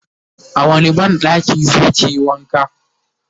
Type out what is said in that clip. a wani banɗakin zakiyi wanka?